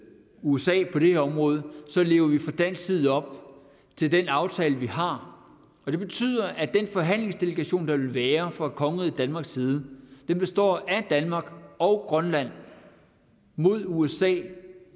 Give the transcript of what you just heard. usa på det her område lever vi fra dansk side op til den aftale vi har og det betyder at den forhandlingsdelegation der vil være fra kongeriget danmarks side består af danmark og grønland mod usa